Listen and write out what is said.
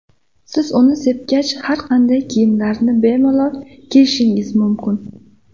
Siz uni sepgach, har qanday kiyimlarni bemalol kiyishingiz mumkin.